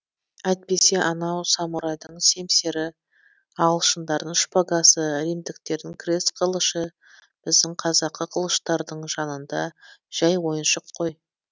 әйтпесе анау самурайдың семсері ағылшындардың шпагасы римдіктердің крест қылышы біздің қазақы қылыштардың жанында жәй ойыншық ғой